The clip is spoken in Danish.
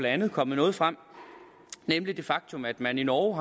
andet kommet noget frem nemlig det faktum at man i norge